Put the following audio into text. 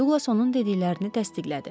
Duqlas onun dediklərini təsdiqlədi.